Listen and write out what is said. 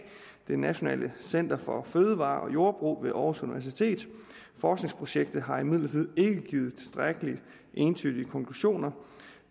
nationalt center for fødevarer og jordbrug ved aarhus universitet forskningsprojektet har imidlertid ikke givet tilstrækkeligt entydige konklusioner